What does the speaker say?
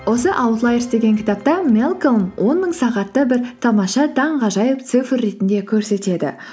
осы аутлайерс деген кітапта мэлколм он мың сағатты бір тамаша таңғажайып цифр ретінде көрсетеді